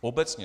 Obecně.